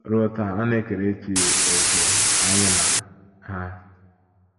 Ruo taa,ọ na - ekerechi òkè anya na ha.